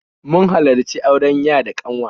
Mun halarci auren ya da ƙanwa